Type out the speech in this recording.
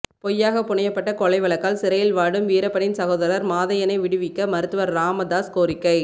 பொய்யாக புனையப்பட்ட கொலை வழக்கால் சிறையில் வாடும் வீரப்பனின் சகோதரர் மாதையனை விடுவிக்க மருத்துவர் ராமதாஸ் கோரிக்கை